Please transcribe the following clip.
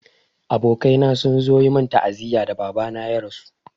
Abokaina sun zo yi min ta'aziyya da Baba na ya rasu.